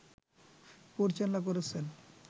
পরিচালনা করছেন